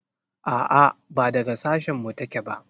A'a ba daga sashin mu ta ke ba